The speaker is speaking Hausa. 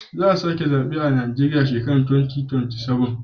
Za a sake zabe a Najeriya a shekara ta 2027.